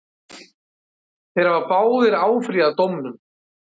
Þeir hafa báðir áfrýjað dómnum.